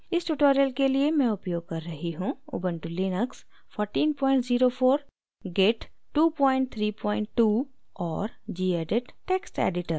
इस tutorial के लिए मैं उपयोग कर रही हूँ: उबन्टु लिनक्स 1404 git 232 और gedit text editor